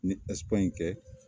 N ɲe Ɛsipaɲi kɛ